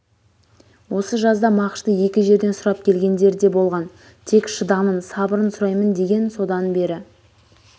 осы жазда мағышты екі жерден сұрап келгендер де болған тек шыдамын сабырын сұраймын деген содан бері